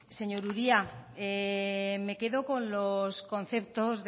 señor uria me quedo con los conceptos